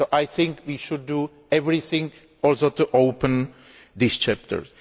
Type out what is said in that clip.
I think we should do everything to open these chapters.